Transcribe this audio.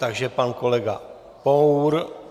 Takže pan kolega Pour.